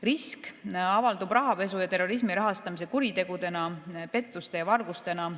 Risk avaldub rahapesu ja terrorismi rahastamise kuritegudena, pettuste ja vargustena.